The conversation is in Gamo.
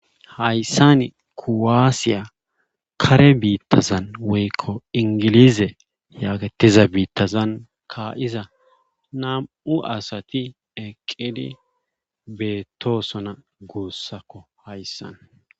Hayssan kuwaasiya kare biittazan woykko inggiliize yaagettiza biittazan kaa7iza nam77u asati eqqidi beettoosona guussako hayssan.